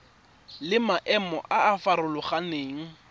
le maemo a a farologaneng